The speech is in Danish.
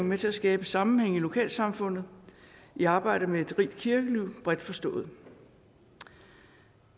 med til at skabe sammenhænge i lokalsamfundet i arbejdet med et rigt kirkeliv bredt forstået